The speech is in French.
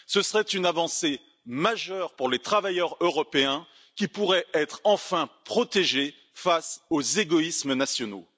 Cela serait une avancée majeure pour les travailleurs européens qui pourraient être enfin protégés face aux égoïsmes nationaux.